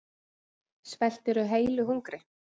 Svelturðu heilu hungri?